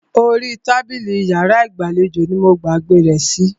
Orí tábìlì inú iyàrá ìgbàlejò ní mo gbàgbé rẹ̀ sí.